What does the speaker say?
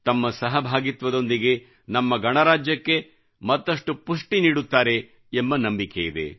ತಮ್ಮ ಸಹಭಾಗಿತ್ವದೊಂದಿಗೆ ನಮ್ಮ ಗಣರಾಜ್ಯಕ್ಕೆ ಮತ್ತಷ್ಟು ಪುಷ್ಟಿ ನೀಡುತ್ತಾರೆ ಎಂಬ ನಂಬಿಕೆಯಿದೆ